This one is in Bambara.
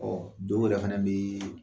Ɔ dɔw yɛrɛ fana bɛ